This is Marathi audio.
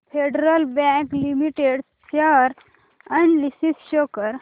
federal bank limited share analysis show कर